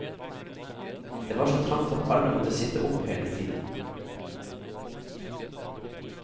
Det var så trangt at alle måtte sitte opp hele tiden.